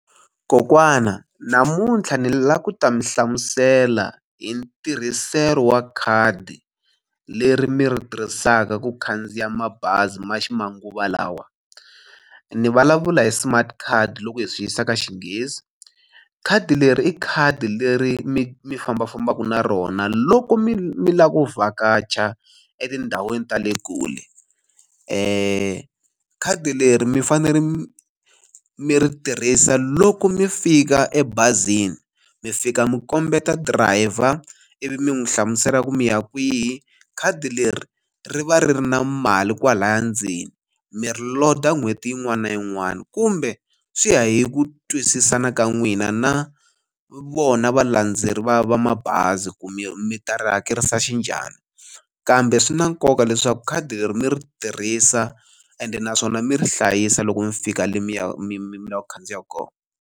Kokwana namuntlha ni lava ku ta mi hlamusela hi ntirhiselo wa khadi leri mi ri tirhisaka ku khandziya mabazi ma ximanguva lawa ni vulavula hi smart card loko hi swi yisa ka Xinghezi khadi leri i khadi leri mi mi fambafambaka na rona loko mi mi lava ku vhakacha etindhawini ta le kule khadi leri mi fanekele mi ri tirhisa loko mi fika ebazini mi fika mi kombeta dirayiva ivi mi n'wu hlamusela ku mi ya kwihi khadi leri ri va ri ri na mali kwalaya ndzeni mi ri load-a n'hweti yin'wana na yin'wana kumbe swi ya hi ku twisisana ka n'wina na vona valandzeri va va mabazi ku mi ta ri hakelisa xi njani kambe swi na nkoka leswaku khadi leri mi ri tirhisa ende naswona mi ri hlayisa loko mi fika le mi mi la ku khandziya kona.